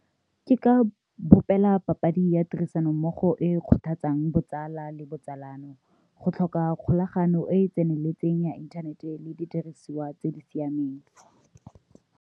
Ke ka bopela papadi ya tirisanommogo e kgothatsang botsala le botsalano go tlhoka kgolagano e e tseneletseng ya inthanete le didiriswa tse di siameng.